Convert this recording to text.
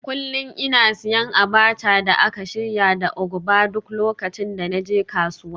Kullum ina siyan abacha da aka shirya da ugba duk lokacin da na je kasuwa